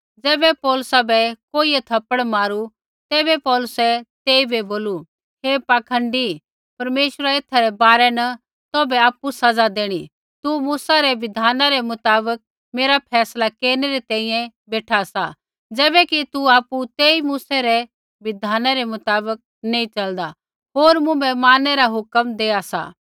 ज़ैबै पौलुसा बै कोइयै थप्पड़ मारू तैबै पौलुसै तेइबै बोलू हे पाखंडी परमेश्वरा एथा रै बारै न तौभै आपु सज़ा देणी तू मूसा रै बिधाना रै मुताबक मेरा फैसला केरनै री तैंईंयैं बेठा सा ज़ैबैकि तू आपु तेई मूसै रै बिधाना रै मुताबक नी च़लदा होर मुँभै मारनै रा हुक्म देआ सा